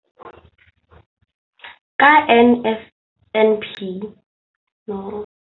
Ka NSNP le fetile dipeelo tsa lona tsa go fepa masome a supa le botlhano a diperesente ya barutwana ba mo nageng.